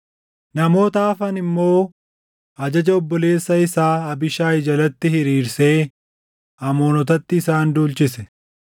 Namoota hafan immoo ajaja obboleessa isaa Abiishaayi jalatti hiriirsee Amoonotatti isaan duulchise.